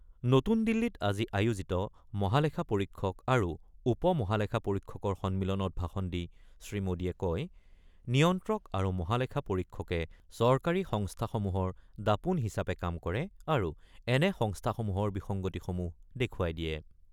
নতুন দিল্লীত আজি আয়োজিত মহালেখা পৰীক্ষক আৰু উপ মহালেখা পৰীক্ষকৰ সন্মিলনত ভাষণ দি শ্ৰীমোদীয়ে কয় নিয়ন্ত্ৰক আৰু মহালেখা পৰীক্ষকে চৰকাৰী সংস্থাসমূহৰ দাপোণ হিচাপে কাম কৰে আৰু এনে সংস্থাসমূহৰ বিসংগতিসমূহ দেখুৱাই দিয়ে।